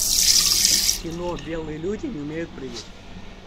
кино белые люди не умеют прыгать